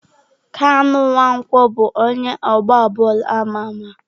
Kanu Nwankwo bụ onye ọgba bọọlụ ama ama.